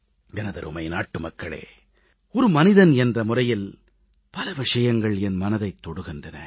எமதருமை நாட்டுமக்களே ஒரு மனிதன் என்ற முறையில் பல விஷயங்கள் என் மனதைத் தொடுகின்றன